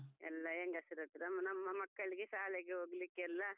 ಎಲ್ಲಾ ಹೆಂಗಸರಾತ್ರ ನಮ್ಮ ಮಕ್ಕಳಿಗೆ ಶಾಲೆಗೆ ಹೊಗ್ಲಿಕ್ಕೆಲ್ಲ.